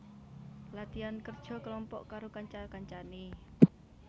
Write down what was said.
Latihan kerja kelompok karo kanca kancane